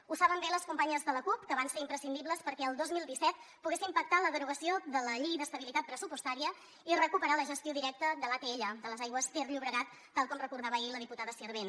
ho saben bé les companyes de la cup que van ser imprescindibles perquè el dos mil disset poguéssim pactar la derogació de la llei d’estabilitat pressupostària i recuperar la gestió directa de l’atll de les aigües ter llobregat tal com recordava ahir la diputada sirvent